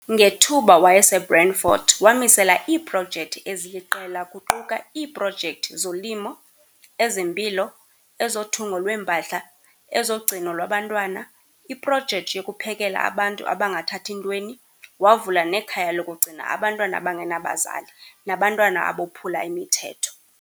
Ngethuba wayeseBrandfort wamisela iiprojecti eziliqela kuquka iiprojecti zolimo, ezempilo, ezothungo lweempahla, ezogcino lwabantwana, iprojecti yokuphekela abantu abangathathi ntweni, wavula nekhaya lokugcina abantwana abangenabazali nabantwana abophula imithetho.